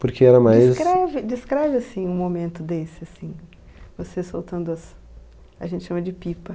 Porque era mais... Descreve descreve assim um momento desse, assim, você soltando as... A gente chama de pipa.